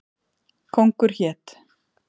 Kóngur hét.